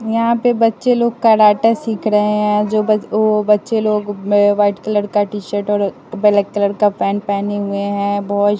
यहां पे बच्चे लोग कराटा सिख रहे जो बच वो बच्चे लोग ने व्हाइट कलर का टी शर्ट और बलैक कलर का पेंट पेहने हुए है बॉयज --